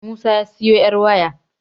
Musa ya siyo 'yaryawo